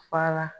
Fara